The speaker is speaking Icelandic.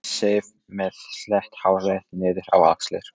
Sif með slétt hárið niður á axlir.